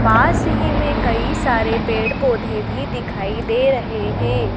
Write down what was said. पास ही में कई सारे पेड़ पौधे भी दिखाई दे रहे हैं।